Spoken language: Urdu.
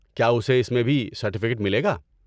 کیا اسے اس میں بھی سرٹیفکیٹ ملے گا؟